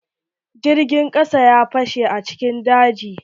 Jirgin kasa ya bache a cikin daji.